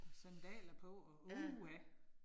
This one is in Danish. Og sandaler på og uha